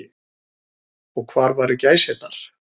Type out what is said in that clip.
Og hvar væru gæsirnar.